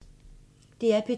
DR P2